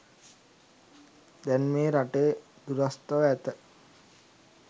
දැන් මේ රටේ දුරස්ව ඇත.